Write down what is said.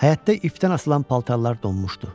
Həyətdə ifdən asılan paltarlar donmuşdu.